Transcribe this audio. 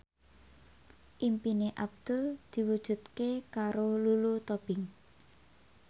impine Abdul diwujudke karo Lulu Tobing